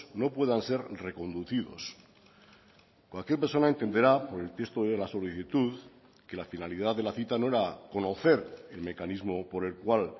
no puedan ser reconducidos cualquier persona entenderá por el texto de la solicitud que la finalidad de la cita no era conocer el mecanismo por el cual